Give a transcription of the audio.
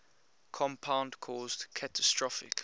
compound caused catastrophic